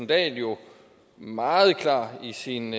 dahl jo meget klar i sin